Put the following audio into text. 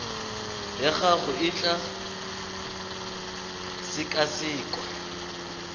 ya gago e tla sekasekwa